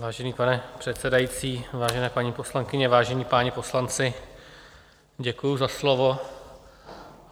Vážený pane předsedající, vážené paní poslankyně, vážení páni poslanci, děkuji za slovo.